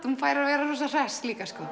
hún fær að vera rosa hress líka sko